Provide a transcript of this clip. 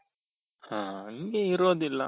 ಹ ಹಂಗೆ ಇರೋದಿಲ್ಲ